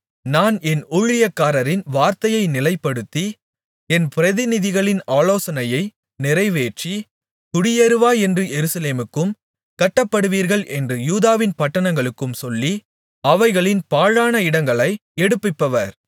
நான் என் ஊழியக்காரரின் வார்த்தையை நிலைப்படுத்தி என் பிரதிநிதிகளின் ஆலோசனையை நிறைவேற்றி குடியேறுவாய் என்று எருசலேமுக்கும் கட்டப்படுவீர்கள் என்று யூதாவின் பட்டணங்களுக்கும் சொல்லி அவைகளின் பாழான இடங்களை எடுப்பிப்பவர்